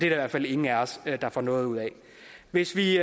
i hvert fald ingen af os der får noget ud af hvis vi